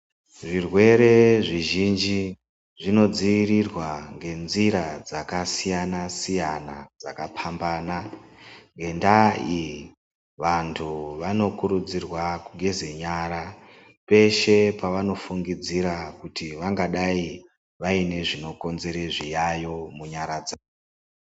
Zvirwere zvizhinji zvinodzivirirwa ngenzira dzakasiyana-siyana, dzakaphambana .Ngendaa iyi ,vantu vanokurudzirwa kugeze nyara peshe pavanofungidzira kuti vangadai vaine zvinokonzere zviyayo munyara dzawo.